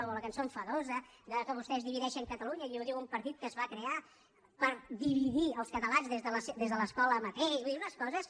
o la cançó enfadosa que vostès divideixen catalunya i ho diu un partit que es va crear per dividir els catalans des de l’escola mateixa vull dir unes coses